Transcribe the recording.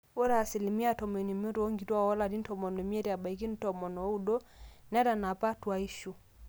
ore asilimia tomon oimiet oonkituak oolarin tomon oimiet mbaka tomon ooudo netanapa tuaishu